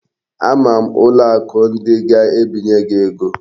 Ama m ụlọ akụ ndị ga-ebinye gị ego